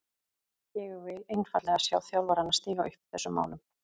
Ég vil einfaldlega sjá þjálfarana stíga upp í þessum málum.